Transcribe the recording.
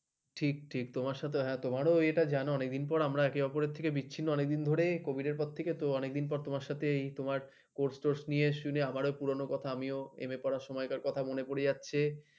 ঠিক ঠিক তোমার সাথে, হ্যাঁ তোমারও এটা জানা অনেকদিন পর আমরা একে অপরের থেকে বিচ্ছিন্ন অনেকদিন ধরেই কবিদের পর থেকে অনেকদিন পর তোমার সাথে তোমার কোস টোস নিয়ে সুনে আমারো পরানো কোথা আমিও এম এ, পড়ার সময়কার কথা মনে পড়ে যাচ্ছে ।